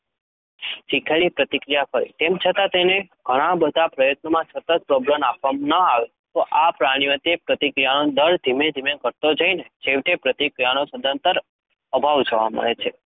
શીખેલી પ્રતિક્રિયા કરે, તેમ છતાં તેને ઘણા બધા પ્રયત્નોમાં સતત પ્રબલન આપવામાં ન આવે તો આ પ્રાણીમાં તે પ્રતિક્રિયાનો દર ધીમે ધીમે ઘટતો જઈને છેવટે પ્રતિક્રિયાનો સદંતર અભાવ જોવા મળે છે.